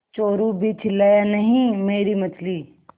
चोरु भी चिल्लाया नहींमेरी मछली